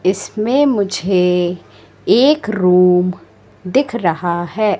इसमें मुझे एक रूम दिख रहा है।